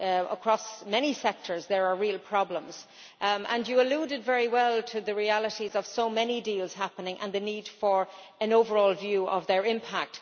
Across many sectors there are real problems, and you eluded very well to the realities of so many deals happening and the need for an overall view of their impact.